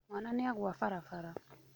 Mwana nĩagwa barabara..